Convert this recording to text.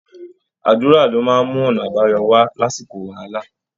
Àdúra ni ó máa ń mú ọ̀nà àbáyọ wá lásìkò wàhálà